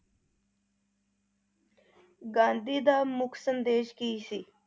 ਗਾਂਧੀ ਦਾ ਮੁਖ ਸੰਦੇਸ਼ ਕੀ ਸੀ?